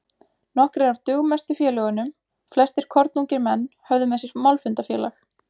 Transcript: Nokkrir af dugmestu félögunum, flestir kornungir menn, höfðu með sér málfundafélag